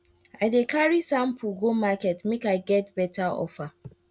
i dey carry sample go market make i get better offer